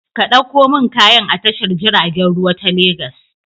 Ka ɗauko min kayan a tashar jiragen ruwa ta Legas.